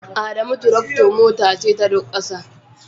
Adamu tractor Mota ce ta Duk ƙasa